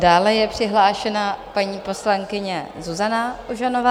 Dále je přihlášena paní poslankyně Zuzana Ožanová.